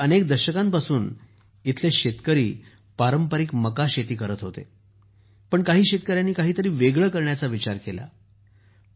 वास्तविक अनेक दशकांपासून येथील शेतकरी पारंपारिक मका शेती करत होते पण काही शेतकऱ्यांनी काहीतरी वेगळं करण्याचा विचार केला